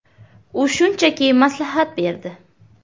U shunchaki maslahat berdi.